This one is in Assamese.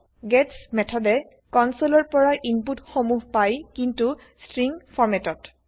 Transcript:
গেটছ মেথড এ কনচোলৰ পৰা ইনপুত সমুহ পায় কিন্তু স্ট্ৰিনংগ ফৰমেটত